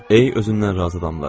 Ey özündən razı adamlar!